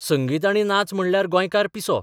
संगीत आनी नाच म्हणल्यार गोंयकार पिसो.